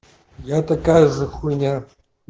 я такая же хуйна